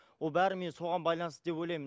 ол бәрі мен соған байланысты деп ойлаймын